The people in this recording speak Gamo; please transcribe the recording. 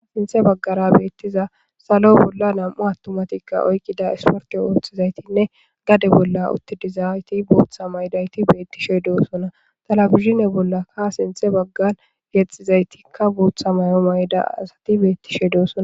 Sinthe baggara beettiza salo bolla nam7u attumatikka oykqida isporke wooththizaytinne gade bolla uttidizayti bootha maydayti beettishey doosona talabizine bolla ka sinthe baggan yexxizaytikka bootha may7o mayda asati beettishey doosona.